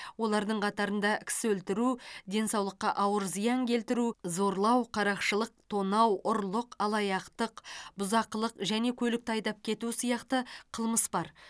олардың қатарында кісі өлтіру денсаулыққа ауыр зиян келтіру зорлау қарақшылық тонау ұрлық алаяқтық бұзақылық және көлікті айдап кету сияқты қылмыс бар